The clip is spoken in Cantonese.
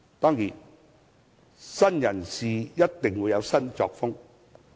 當然，新人事一定會有新作風。